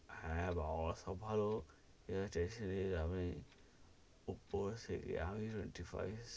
হ্যা, বাবা সব ভালো এভাবে tension নিয়ে লাভ নেই ওপর থেকে আমি ,